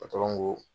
ko